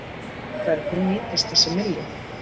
En hvernig nýtist þessi milljón?